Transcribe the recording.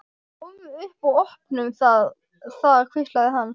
Komum upp og opnum það þar hvíslaði hann.